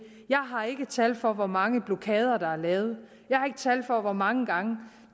jeg har ikke tal for hvor mange blokader der er lavet jeg har ikke tal for hvor mange gange